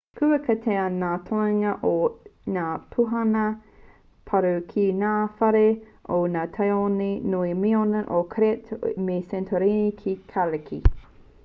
kua kitea ngā toenga o ngā pūnaha paru ki ngā whare o ngā tāone nui minoan o crete me santorini ki kariki